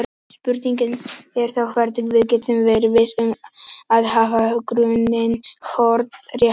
Spurningin er þá hvernig við getum verið viss um að hafa grunninn hornréttan.